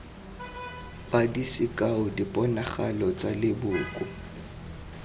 padi sekao diponagalo tsa leboko